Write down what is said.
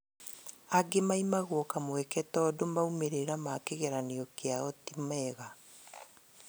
Angĩ maimagwo kamweke tondũ maumĩrĩra ma kĩgeranio kiao ti mega